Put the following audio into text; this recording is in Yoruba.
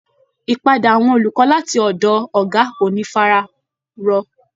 Ìpadà àwọn olùkọ́ láti ọ̀dọ̀ Ọ̀gá ò ní fara rọ